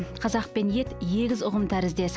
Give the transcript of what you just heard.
қазақ пен ет егіз ұғым тәріздес